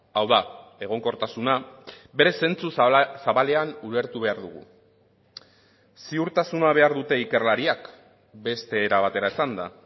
hau da egonkortasuna bere zentzu zabalean ulertu behar dugu ziurtasuna behar dute ikerlariak beste era batera esanda